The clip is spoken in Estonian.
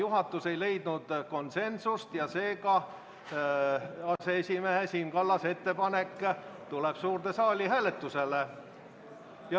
Juhatus aga ei leidnud konsensust ja sellepärast tuleb aseesimees Siim Kallase ettepanek suurde saali hääletusele.